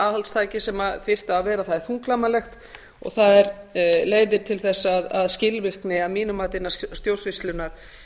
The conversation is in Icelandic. aðhaldstæki sem þyrfti að vera það er þunglamalegt og það leiðir til þess að skilvirkni að mínu mati innan stjórnsýslunnar